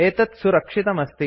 एतत् सुरक्षितमस्ति